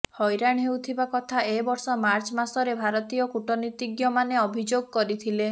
ହଇରାଣ ହେଉଥିବା କଥା ଏ ବର୍ଷ ମାର୍ଚ୍ଚ ମାସରେ ଭାରତୀୟ କୂଟନୀତିଜ୍ଞମାନେ ଅଭିଯୋଗ କରିଥିଲେ